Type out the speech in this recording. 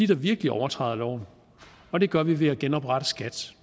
der virkelig overtræder loven og det gør vi ved at genoprette skat